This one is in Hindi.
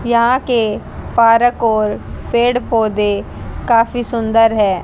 यहां के पारक और पेड़ पौधे काफी सुंदर है।